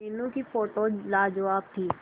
मीनू की फोटोज लाजवाब थी